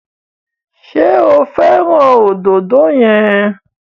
Ṣé o fẹ́ràn òdòdó yẹn?